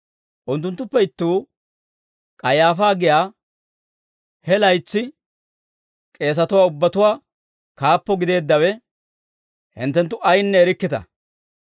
Unttunttuppe ittuu K'ayaafaa giyaa, he laytsi k'eesatuwaa ubbatuwaa kaappo gideeddawe, «Hinttenttu ayinne erikkita!